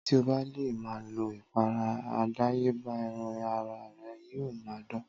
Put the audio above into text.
Tí o bá le ma lo ìpara àdáyébá ẹran ara re yíò ma dán